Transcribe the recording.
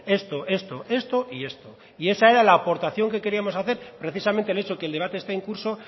esto esto esto y esto y esa era la aportación que queríamos hacer precisamente el hecho que el debate esté en curso